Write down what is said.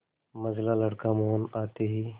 मंझला लड़का मोहन आते ही